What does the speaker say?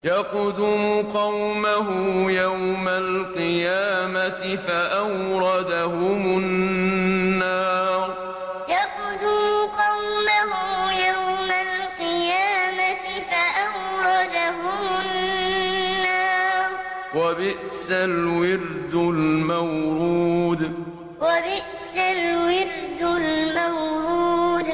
يَقْدُمُ قَوْمَهُ يَوْمَ الْقِيَامَةِ فَأَوْرَدَهُمُ النَّارَ ۖ وَبِئْسَ الْوِرْدُ الْمَوْرُودُ يَقْدُمُ قَوْمَهُ يَوْمَ الْقِيَامَةِ فَأَوْرَدَهُمُ النَّارَ ۖ وَبِئْسَ الْوِرْدُ الْمَوْرُودُ